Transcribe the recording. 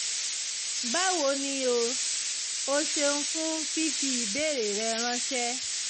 báwo ni o? o ṣeun fún fífi ìbéèrè rẹ ránṣẹ́